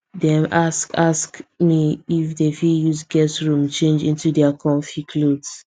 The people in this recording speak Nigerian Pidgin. them ask ask me if them fit use guest room change into their comfy clothes